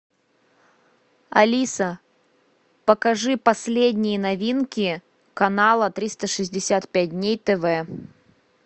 алиса покажи последние новинки канала триста шестьдесят пять дней тв